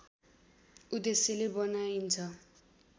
उद्देश्यले बनाइन्छ